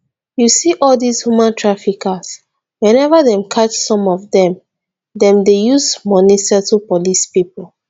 you see all dis human traffickers whenever dem catch some of dem dem dey use money settle police people